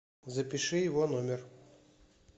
запиши его номер